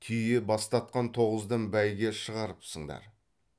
түйе бастатқан тоғыздан бәйге шығарыпсыңдар